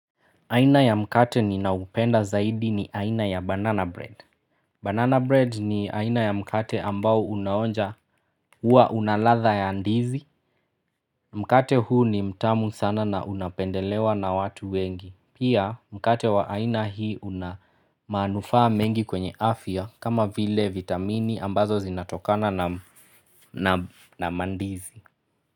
Aina ya mkate ninaupenda zaidi ni aina ya banana bread. Banana bread ni aina ya mkate ambao unaonja huwa una ladha ya ndizi. Mkate huu ni mtamu sana na unapendelewa na watu wengi. Pia mkate wa aina hii unamanufaa mengi kwenye afya kama vile vitamini ambazo zinatokana na mandizi.